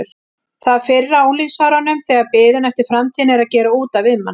Það fyrra á unglingsárunum þegar biðin eftir framtíðinni er að gera út af við mann.